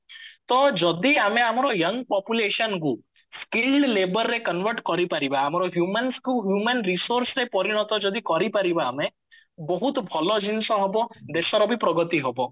ତ ଯଦି ଆମେ ଆମର young population କୁ laborରେ convert କରିପାରିବା ଆମର humans କୁ human resource ପରିଣତ ଯଦି କରିପାରିବା ଆମେ ବହୁତ ଭଲ ଜିନିଷ ହବ ଦେଶର ବି ପ୍ରଗତି ହବ